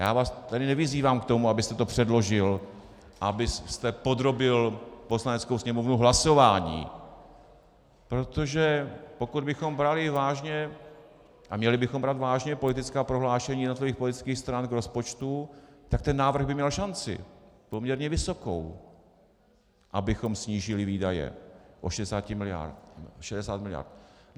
Já vás tedy nevyzývám k tomu, abyste to předložil, abyste podrobil Poslaneckou sněmovnu hlasování, protože pokud bychom brali vážně, a měli bychom brát vážně, politická prohlášení jednotlivých politických stran k rozpočtu, tak ten návrh by měl šanci poměrně vysokou, abychom snížili výdaje o 60 miliard.